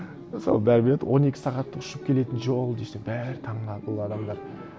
сол бәрі біледі он екі сағат ұшып келетін жол десем бәрі таңғалады ол адамдар